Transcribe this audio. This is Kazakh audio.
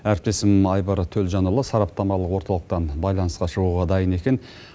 әріптесім айбар төлжанұлы сараптамалық орталықтан байланысқа шығуға дайын екен